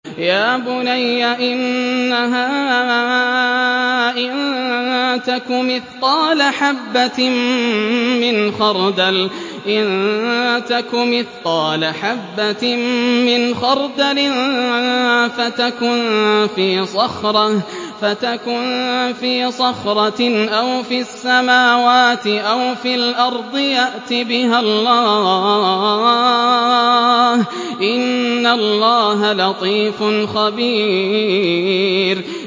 يَا بُنَيَّ إِنَّهَا إِن تَكُ مِثْقَالَ حَبَّةٍ مِّنْ خَرْدَلٍ فَتَكُن فِي صَخْرَةٍ أَوْ فِي السَّمَاوَاتِ أَوْ فِي الْأَرْضِ يَأْتِ بِهَا اللَّهُ ۚ إِنَّ اللَّهَ لَطِيفٌ خَبِيرٌ